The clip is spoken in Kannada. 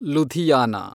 ಲುಧಿಯಾನಾ